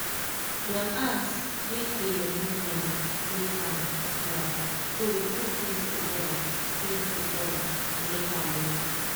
dem ask make dey movement dey calm small so we put things together things together to make am work.